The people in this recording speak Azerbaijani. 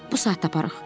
Bu saat taparıq.